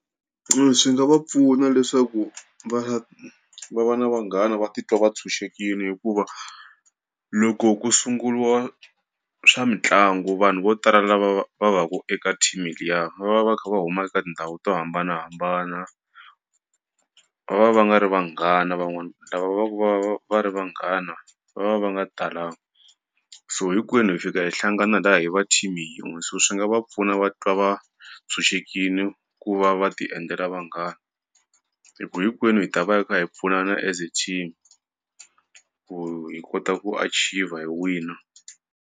Swi nga va pfuna leswaku va va va na vanghana va titwa va tshunxekile, hikuva loko ku sunguliwa swa mitlangu vanhu vo tala lava va va ku eka team liya va va kha va huma eka tindhawu to hambanahambana, va nga ri vanghana van'wani, lava va va ku va ri vanghana va va va nga talangi, so hinkwenu hi fika hi hlangana laha hi va team yin'we, so swi nga va pfuna va twa va tshunxekile ku va va tiendlela vanghana, hi ku hinkwenu hi ta va kha hi pfuna as team ku hi kota ku achiever hi wina.